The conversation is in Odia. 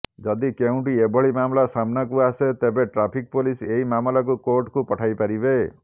ଯଦି କେଉଁଠି ଏଭଳି ମାମଲା ସାମ୍ନାକୁ ଆସେ ତେବେ ଟ୍ରାଫିକ ପୋଲିସ ଏହି ମାମଲାକୁ କୋର୍ଟକୁ ପଠାଇପାରିବେ